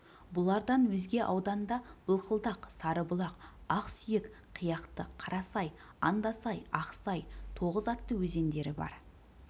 бұлардан өзге ауданда былқылдақ сарыбұлақ ақсүйек қияқты қарасай андасай ақсай тоғыз атты өзендері бар